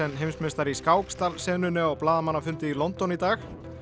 heimsmeistari í skák stal senunni á blaðamannafundi í London í dag